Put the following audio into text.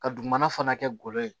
Ka dugumana fana kɛ golo ye